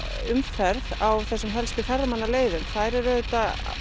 umferð á þessum helstu ferðamannaleiðum þær eru auðvitað